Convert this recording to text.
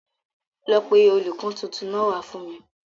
Lọ pé olùkó tuntun náà wá fún mi.